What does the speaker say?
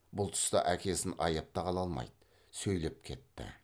бұл тұста әкесін аяп та қала алмайды сөйлеп кетті